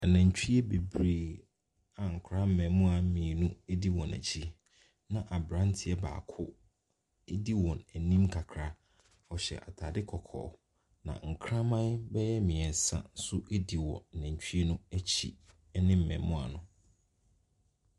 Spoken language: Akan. Nnantwie bebree a nkoraa mmɛɛmuwaa mmienu ɛdi wɔn akyi na aberanteɛ baako ɛdi wɔn anim kakra. Ɔhyɛ ataade kɔkɔɔ na nkraman bɛɛ mmiɛnsa nso ɛdi nantwie no akyi ɛne mmɛɛmuwaa no.